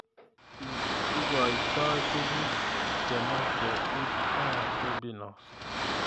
Igoitoi tuguk chemeche iip gaa bepinos